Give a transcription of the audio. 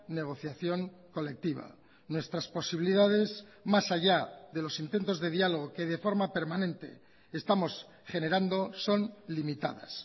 negociación colectiva nuestras posibilidades más allá de los intentos de diálogo que de forma permanente estamos generando son limitadas